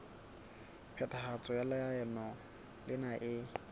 phethahatso ya leano lena e